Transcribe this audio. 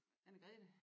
Anne-Grethe